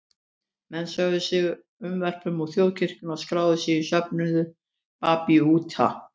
Menn sögðu sig unnvörpum úr þjóðkirkjunni og skráðu sig í söfnuð babúíta.